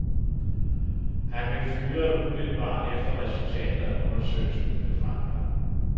Han blev fyret umiddelbart efter, at resultatet af undersøgelsen blev fremlagt.